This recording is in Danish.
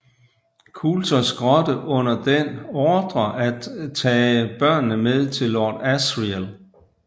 Coulters grotte under den ordrer at tage børnene med til Lord Asriel